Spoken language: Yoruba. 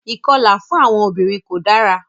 Ìkọlà fún àwọn obìnrin ko dara.